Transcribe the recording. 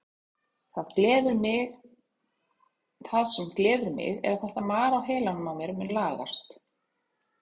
Það sem gleður mig er að þetta mar á heilanum á mér mun lagast.